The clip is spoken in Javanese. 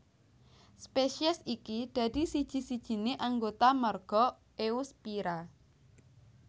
Spesies iki dadi siji sijine anggota marga Eusphyra